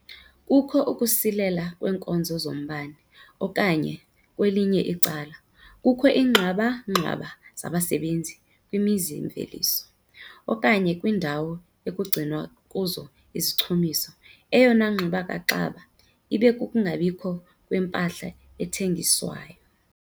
Kukho ukusilela kweenkonzo zombane okanye kwelinye icala, kukho iingxwaba-ngxwaba zabasebenzi kwimizi-mveliso okanye kwiindawo ekugcinwa kuzo izichumiso. Eyona ngxubakaxaba ibe - kukungabikho kwempahla ethengiswayo.